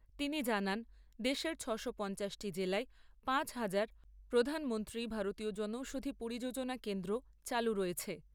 তিনি জানান, দেশের ছশো পঞ্চাশটি জেলায় পাঁচ হাজার 'প্রধানমন্ত্রী ভারতীয় জনৌষধি পরিযোজনা কেন্দ্র চালু রয়েছে।